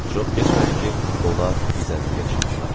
Çox keçmədi ki, onlar düzənliyə çıxdılar.